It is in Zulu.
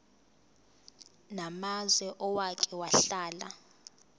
namazwe owake wahlala